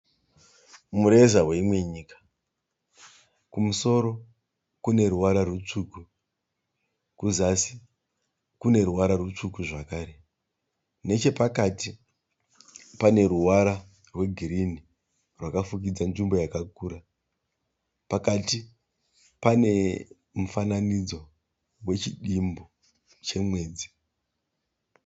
Mureza weimwe nyika. Kumusoro kune ruvara rutsvuku. Kuzasi kune ruvara rutsvuku zvakare. Nechepakati pane ruvara rwegirini rwakafukidza nzvimbo yakakura. Pakati pane mufananidzo wechidimbu chemwedzi.